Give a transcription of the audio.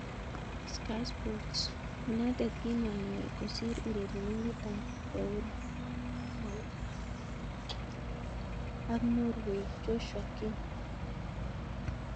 (Sky Sports) United kimonyor kosir urerenindet ab Bournemouth ak Norway Joshua King.